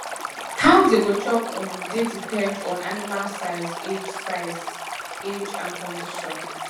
how dey go chop um dey depend on animal size age size age and condition